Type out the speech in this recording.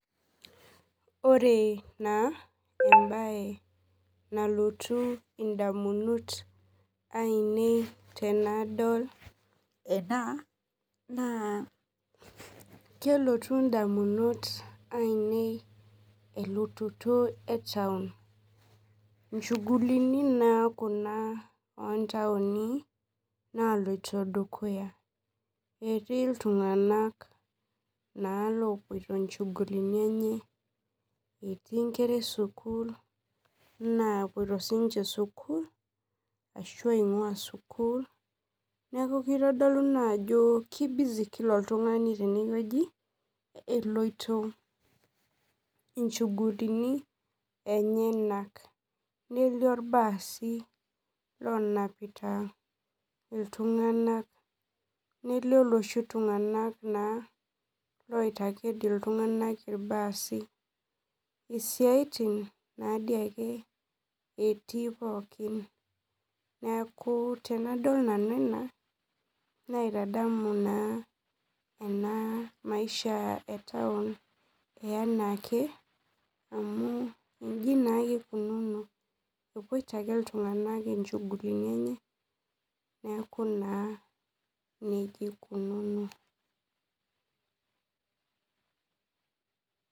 Ore na embae nalotu ndamunot ainei tanadol ena na kelotu ndamunot ainei elototo etaun nchugulini naa etaun kuna naloito dukuya etii ltunganak na lopoito nchugulini enye etii nkera esukul napoto sinche sukul ashu epoito sukul neaku kitadolu ajo keibusy kila oltungani tenewueji eloito inchugulini enyenak nelio irbaasi onapita iltunganak nelio loshi tunganak oitaket ltunganak irbaasi isiatin ake etii pooki neaku tanadol ena naitadamu maisha e taun anaake amu iji naake ikunono epoito ake ltunganak inchugulini enye neaku nejia ikunono.